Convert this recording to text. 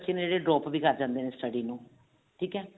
ਜਿਵੇਂ drop ਵੀ ਕਰ ਜਾਂਦੇ ਨੇ study ਨੂੰ ਠੀਕ ਹੈ